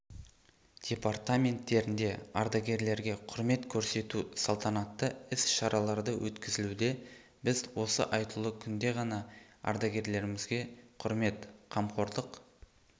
департаменттерінде ардагерлерге құрмет көрсету салтанатты іс-шаралары өткізілуде біз осы айтулы күнде ғана ардагерлерімізге құрмет қамқорлық